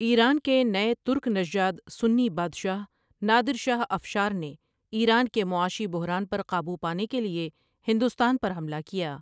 ایران کے نئے ترک نژاد سنی بادشاہ نادر شاہ افشار نے ایران کے معاشی بحران پر قابو پانے کے لیے ہندوستان پر حملہ کیا ۔